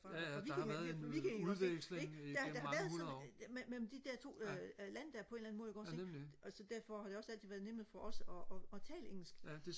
fra vikingerne ikke også ikke der der har været sådan mellem de to øh lande der på en eller anden måde ikke også ikke og derfor har det også altid været nemmere for os og og tale engelsk